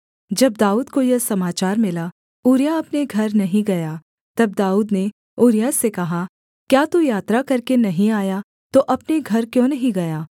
जब दाऊद को यह समाचार मिला ऊरिय्याह अपने घर नहीं गया तब दाऊद ने ऊरिय्याह से कहा क्या तू यात्रा करके नहीं आया तो अपने घर क्यों नहीं गया